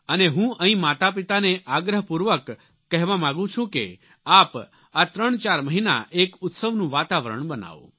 અને હું અહીં માતાપિતાને આગ્રહપૂર્વક કહેવા માગું છું કે આપ આ ત્રણચાર મહિના એક ઉત્સવનું વાતાવરણ બનાવો